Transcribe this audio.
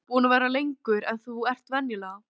Heimir: Búinn að vera lengur en þú ert venjulega?